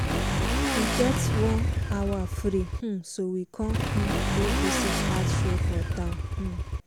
we get one hour free um so we con um go visit art show for town. um